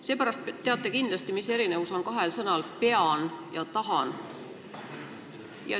Seepärast te teate kindlasti, mis erinevus on kahel sõnal: "pean" ja "tahan".